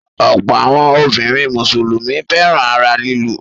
Ọ̀pọ̀ àwọn obìnrin Mùsùlùmí fẹ́ràn ara lílù.